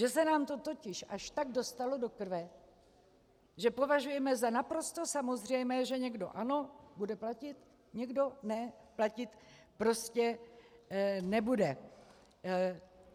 Že se nám to totiž až tak dostalo do krve, že považujeme za naprosto samozřejmé, že někdo ano, bude platit, někdo ne, platit prostě nebude.